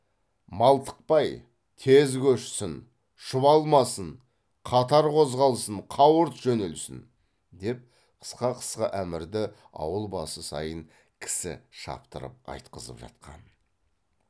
малтықпай тез көшсін шұбалмасын қатар қозғалсын қауырт жөнелсін деп қысқа қысқа әмірді ауыл басы сайын кісі шаптырып айтқызып жатқан